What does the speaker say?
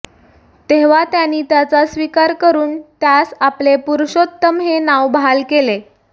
तेव्हा त्यांनी त्याचा स्वीकार करून त्यास आपले पुुरुषोत्तम हे नाव बहाल केले